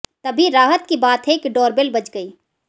तभी राहत की बात है कि डोरबेल बज गई